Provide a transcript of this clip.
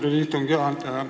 Austatud istungi juhataja!